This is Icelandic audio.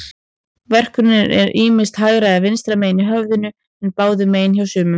Verkurinn er ýmist hægra eða vinstra megin í höfðinu, en báðum megin hjá sumum.